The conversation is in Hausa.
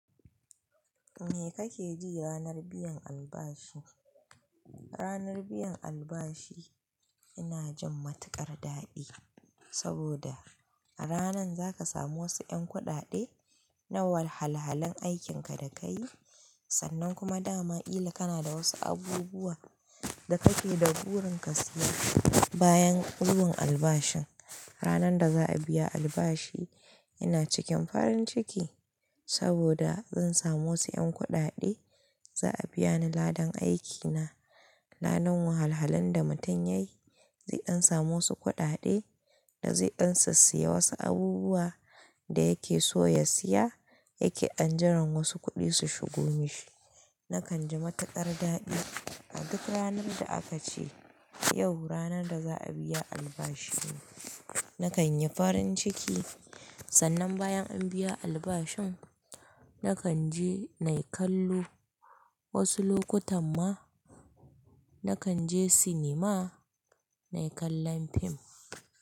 Me kake ji ranar biyan albashi? Ranar biyan albashi ina jin matuƙar daɗi saboda a ranan za ka samu wasu 'yan kuɗaɗe na wahalhalhalen aikinka da ka yi sannan kuma dama kila kana da wasu abubuwa da kake da burin ka siya bayan kulun albashin. Ranar da za a biya albashi ina cikin farin ciki saboda zan samu wasu 'yan kuɗaɗe za a biya ni ladan aikina. Ladan wahalhalhalen da mutum ya yi zai an samu wasu kuɗaɗe da zai ansa siya wasu abubuwa da yake so ya siya yake anjima wasu kuɗi su shigo mishi. Nakan ji matuƙar daɗi a duk ranar da aka ce yau ranar da za a biya albashi. Nakan yi farin ciki sannan bayan an biya albashin nakan je na kallo wasu lokutan ma nakan je cinema nayi kallon fim.